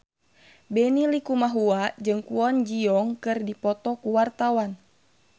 Benny Likumahua jeung Kwon Ji Yong keur dipoto ku wartawan